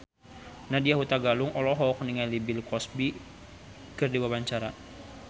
Nadya Hutagalung olohok ningali Bill Cosby keur diwawancara